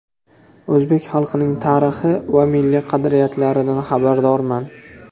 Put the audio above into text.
O‘zbek xalqining tarixi va milliy qadriyatlaridan xabardorman.